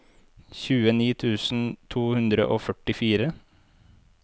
tjueni tusen to hundre og førtifire